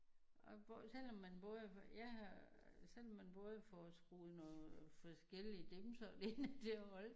Og hvor selvom man både får jeg har selvom man både får skruet noget forskellige dimser ind til at holde